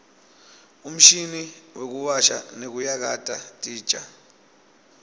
umshini wekuwasha nekuyakata titja